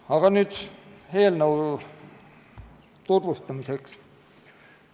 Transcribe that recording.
Aga nüüd eelnõu tutvustamise juurde.